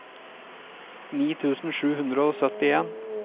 ni tusen sju hundre og syttien